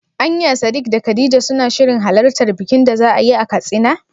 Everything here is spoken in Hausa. Anya Sadik da khadija suna shirin halartar bikin da za'ayi a Katsina?